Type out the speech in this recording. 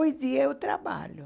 Hoje eu trabalho.